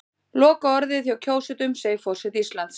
Lokaorðið hjá kjósendum segir forseti Íslands